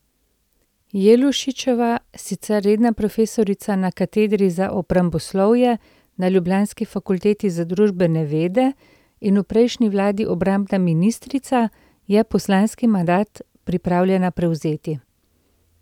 Jelušičeva, sicer redna profesorica na katedri za obramboslovje na ljubljanski Fakulteti za družbene vede in v prejšnji vladi obrambna ministrica, je poslanski mandat pripravljena prevzeti.